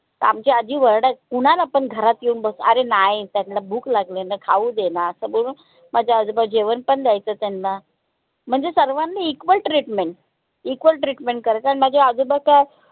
आमची आजी वर्डा ऊनं पन घरात येऊन बसा अरे नाई त्यांला भूक लागली त्यांला खाऊ देना सगुना माझे आजोबा जेवण पन द्यायचं त्यांना म्हणजे सर्वांना equal treatment equal treatment करायचे अन माझे आजोबा त